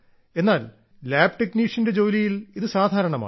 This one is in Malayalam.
എന്നാൽ ലാബ് ടെക്നീഷ്യന്റെ ജോലിയിൽ ഇത് സാധാരണമാണ്